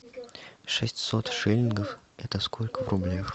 шестьсот шиллингов это сколько в рублях